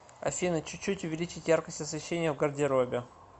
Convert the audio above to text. афина чуть чуть увеличить яркость освещения в гардеробе